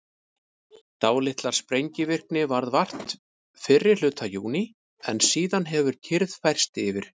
dálítillar sprengivirkni varð vart fyrri hluta júní en síðan hefur kyrrð færst yfir